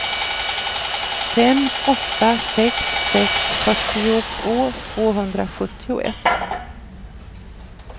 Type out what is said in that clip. fem åtta sex sex fyrtiotvå tvåhundrasjuttioett